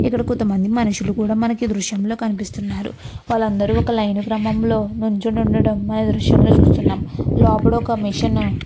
ఇక్కడ కొంత మనుషులు కూడా మనకి ఈ దృశ్యాల్లో కనిపిస్తున్నారు. వాళ్ళు అందరూ ఒక లైన్ క్రమంలో నిల్చొని ఉండడం ఆ దృశ్యాల్లో చూస్తున్నాం. లోపాల ఒక మెషిన్ ను --